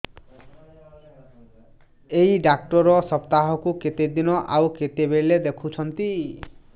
ଏଇ ଡ଼ାକ୍ତର ସପ୍ତାହକୁ କେତେଦିନ ଆଉ କେତେବେଳେ ଦେଖୁଛନ୍ତି